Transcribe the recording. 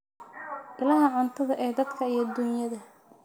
Ilaha cuntada ee dadka iyo duunyada.